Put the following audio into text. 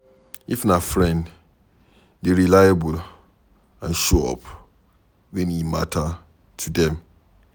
if na friend, dey reliable and show up when e matter to them